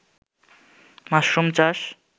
mushroom চাষ